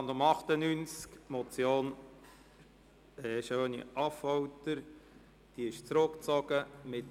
Wir haben noch die Motion SchöniAffolter auf der Traktandenliste.